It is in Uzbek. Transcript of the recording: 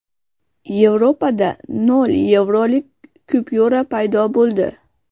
Yevropada nol yevrolik kupyura paydo bo‘ldi.